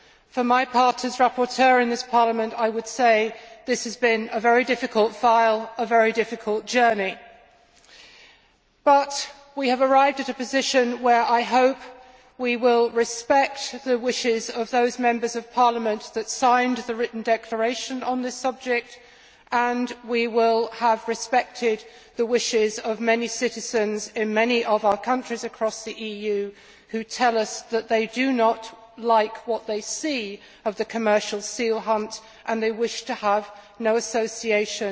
For my part, as rapporteur in this Parliament, I would say that this has been a very difficult file, a very difficult journey. However, we have arrived at a position where, I hope, we will respect the wishes of those Members of Parliament who signed the written declaration on this subject and we will have respected the wishes of many citizens in many of our countries across the EU who tell us that they do not like what they see of the commercial seal hunt and that they wish to have no association